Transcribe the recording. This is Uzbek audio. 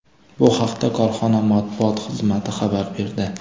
Bu haqda korxona matbuot xizmati xabar berdi .